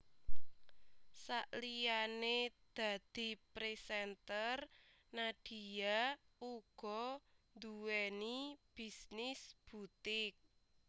Saliyané dadi presenter Nadia uga nduweni bisnis butik